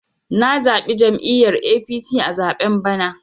Na zaɓi jam'iyyar APC a zaɓen bana.